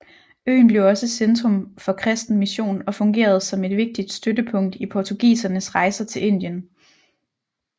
Øen blev også centrum for kristen mission og fungerede som et vigtigt støttepunkt i portugisernes rejser til Indien